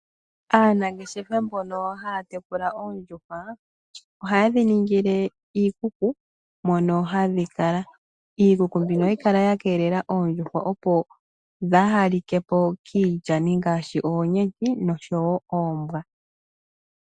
Aanangeshefa mbono haya tekula oondjuhwa, ohaye dhiningile iikuku mono hadhikala. Iikuku mbino ohayi kala ya keelela oondjuhwa, opo dhaahalikepo kiilyani ngaashi oonyenti, noshowo oombwa.